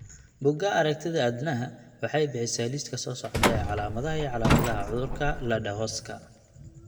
Bugaa aragtidaa aDdanaha waxay bixisaa liiska soo socda ee calaamadaha iyo calaamadaha cudurka Ledderhoska